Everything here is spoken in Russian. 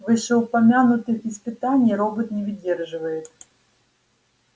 вышеупомянутых испытаний робот не выдерживает